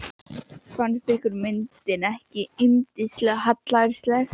Fannst ykkur myndin ekki yndislega hallærisleg?